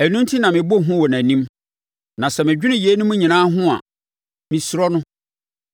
Ɛno enti na mebɔ hu wɔ nʼanim; na sɛ medwene yeinom nyinaa ho a, mesuro no.